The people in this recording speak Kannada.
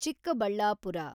ಚಿಕ್ಕಬಳ್ಳಾಪುರ